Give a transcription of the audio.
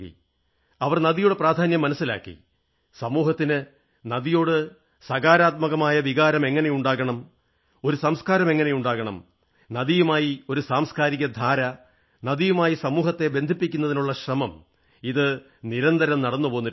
അവർ നദിയുടെ പ്രാധാന്യം മനസ്സിലാക്കി സമൂഹത്തിന് നദിയോട് സകാരാത്മകമായ വികാരം എങ്ങനെ ഉണ്ടാകണം ഒരു സംസ്കാരം എങ്ങനെ ഉണ്ടാകണം നദിയുമായി ഒരു സാംസ്കാരിക ധാര നദിയുമായി സമൂഹത്തെ ബന്ധിപ്പിക്കുന്നതിനുള്ള ശ്രമം ഇത് നിരന്തരം നടന്നുപോന്നിട്ടുണ്ട്